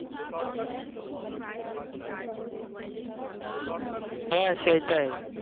হ্যাঁ সেইটাই